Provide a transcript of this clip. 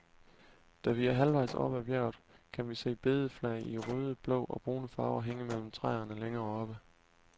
Da vi er halvvejs oppe af bjerget, kan vi se bedeflag i røde, blå og brune farver hænge mellem træerne længere oppe.